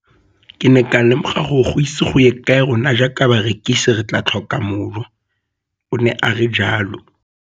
Ke ne ka lemoga gore go ise go ye kae rona jaaka barekise re tla tlhoka mojo, o ne a re jalo.